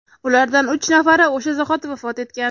ulardan uch nafari o‘sha zahoti vafot etgan.